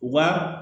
U ba